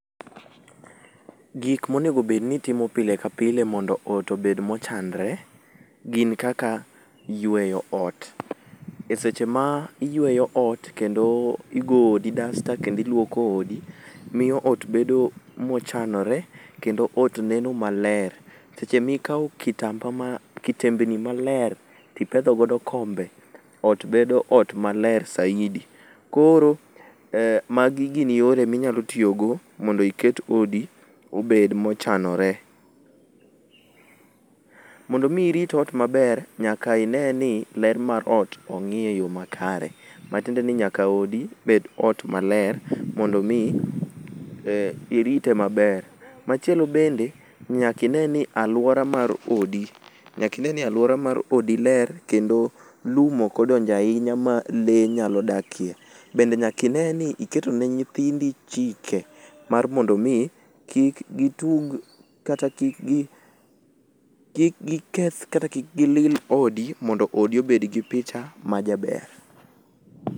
Gik monego bed ni itimo pile ka pile mondo ot obed mochanore gin kaka yueyo ot, e seche ma iyueyo ot kendo igo odi dasta kendo iluoko odi miyo od bedo mochanore kendo ot neno maler, seche mikawo kitembni maler to ipedho godo kombe ot bedo ot bedo ot maler saidi koro magi gin yore ma inyalo tiyo go mondo iket odi obed mochanore, mondo mi irit ot maber nyaka ineni ler mar ot ong'i e yoo makare matiende ni nyaka odi bed ot maler mondo mi irite maber, machielo bende nyaka ine ni alura mar odi ler kendo lum ok odonjo ahinya ma le nyalo dakie bende nyaka ineni iketo ne nyithindi chike mar mondo mi kik gitug kata kik giketh kata kik gi lil odi odi mondo odi obed gi picha majaber